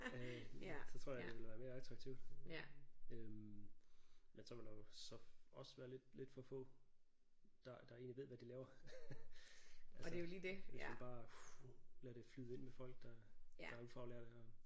Øh så tror jeg det ville være mere attraktivt øh men så ville der jo så også være lidt lidt for få der der egentlig ved hvad de laver altså hvis vi bare lader det flyde ind med folk der der er ufaglærte og